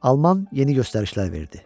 Alman yeni göstərişlər verdi.